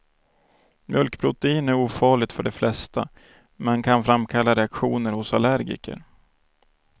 Mjölkprotein är ofarligt för de flesta, men kan framkalla reaktioner hos allergiker.